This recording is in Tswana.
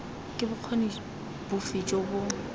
ke bokgoni bofe jo bo